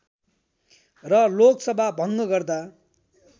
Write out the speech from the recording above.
र लोकसभा भङ्ग गर्दा